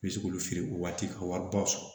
N bɛ se k'olu feere o waati ka wari ba sɔrɔ